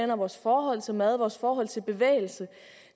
vores forhold til mad vores forhold til bevægelse